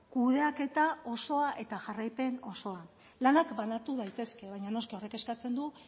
kudeaketa osoa eta jarraipen osoa lanak banatu daitezke baina noski horrek eskatzen du